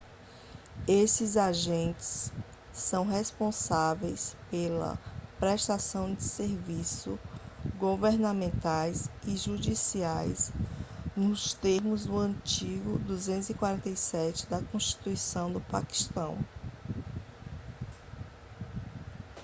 esses agentes são responsáveis pela prestação de serviços governamentais e judiciais nos termos do artigo 247 da constituição do paquistão